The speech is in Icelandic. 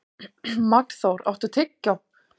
Magnþór, áttu tyggjó?